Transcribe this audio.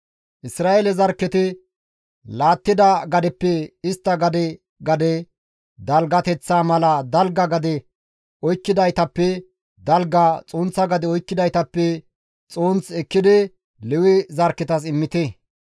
Isra7eele zarkketi laattida gadeppe istta gade gade dalgateththaa mala dalga gade oykkidaytappe dalga, xunththa gade oykkidaytappe xunth ekkidi Lewe zarkketas immite.»